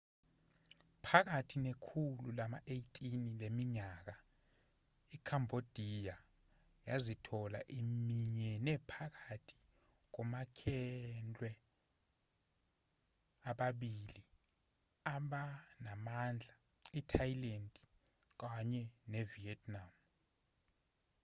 phakathi nekhulu lama-18 leminyaka ikhambhodiya yazithola iminyene phakathi komakhelwne ababili abanamandla i-thailand kanye nevietnam